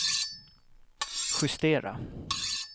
justera